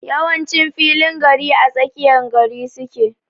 Yawancin filin gari ã tsakiya gari suke.